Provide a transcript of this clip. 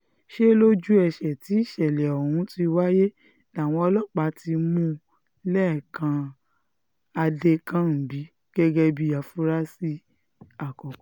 ṣe lójú-ẹsẹ̀ tí ìṣẹ̀lẹ̀ ọ̀hún ti wáyé làwọn ọlọ́pàá ti mú lẹ́kàn adẹkànḿgbì gẹ́gẹ́ bíi àfúráṣí àkọ́kọ́